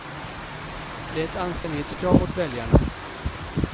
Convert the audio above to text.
Det är ett anständighetskrav mot väljarna.